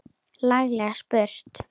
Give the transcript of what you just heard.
Laglega spurt!